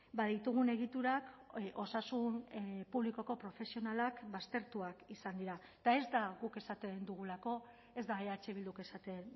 ba ditugun egiturak osasun publikoko profesionalak baztertuak izan dira eta ez da guk esaten dugulako ez da eh bilduk esaten